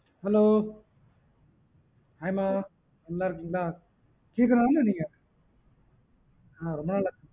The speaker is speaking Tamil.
hello hi ma நல்லா இருக்கீங்களா Keerthana தான நீங்க